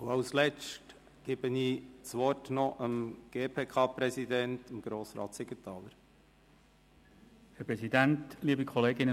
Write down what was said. Als Letztes gebe ich das Wort dem GPK-Präsidenten, Grossrat Siegenthaler. ,Kommissionspräsident der GPK.